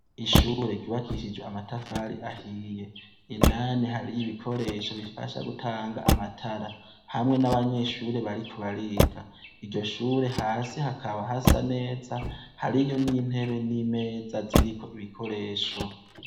Ishure ryubakishijwe amatafari ahiye. Indani hariyo ibikoresho bifasha gutanga amatara. Hamwe n'abanyeshure bariko bariga. Iryo shure hasi hakaba hasa neza hariyo n'intebe n'imeza ziriko ibikoresho.